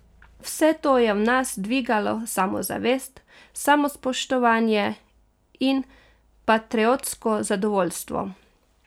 Vse to je v nas dvigalo samozavest, samospoštovanje in patriotsko zadovoljstvo.